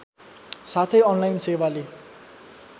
साथै अनलाइन सेवाले